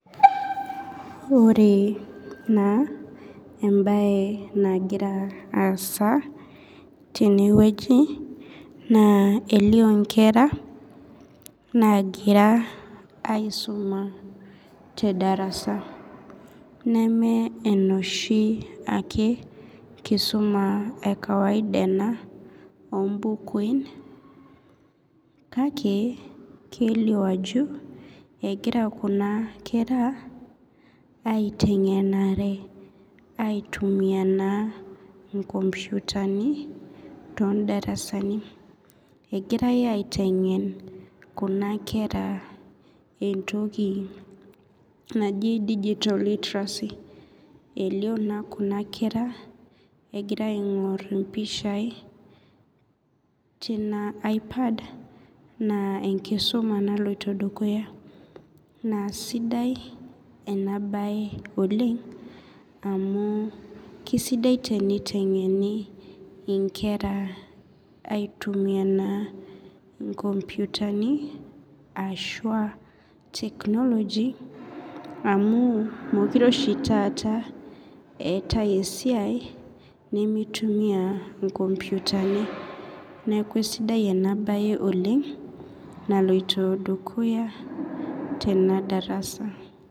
Ore na embae nagira aasa tenewueji na elio nkera nagira aisuma tedarasa nama enoshi ake kisuma ekawaida enabombukui kake kelio ajo egira kuna kera aitengenare aitumia nkomputani ondarasani egirai aitengen kuna kera entoki naji digital literacy elio na kuna kera egira aingur impishai tina aipad na enkisuma naloito dukuya na sidai enabae oleng amu kesidai enitengeni nkera aitumia nkomputani ashu technology amu mekute oshi taata eetae esiai nimitumia inkomputani neaku sidai enasia oleng naloito dukuya tenadarasa.